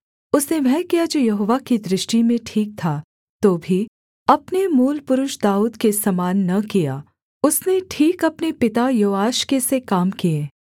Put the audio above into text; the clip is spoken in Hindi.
उसने वह किया जो यहोवा की दृष्टि में ठीक था तो भी अपने मूलपुरुष दाऊद के समान न किया उसने ठीक अपने पिता योआश के से काम किए